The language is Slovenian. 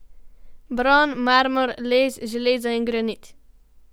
Bron, marmor, les, železo in granit.